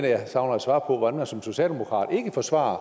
jeg savner et svar på hvordan man som socialdemokrat ikke forsvarer